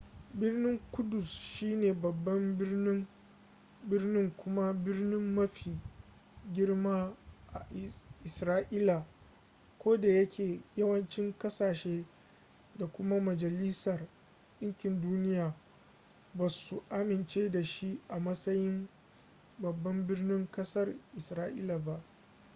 birnin ƙudus shine babban birni kuma birni mafi girma a isra'ila kodayake yawancin kasashe da kuma majalisar ɗinkin duniya ba su amince da shi a matsayin babban birnin ƙasar isra'ila ba